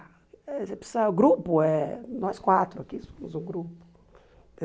Você precisa o grupo é nós quatro aqui, somos um grupo.